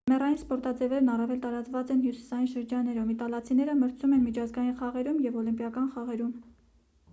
ձմեռային սպորտաձևերն առավել տարածված են հյուսիսային շրջաններում իտալացիները մրցում են միջազգային խաղերում և օլիմպիական խաղերում